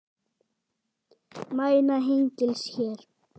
Mæna hengils hér.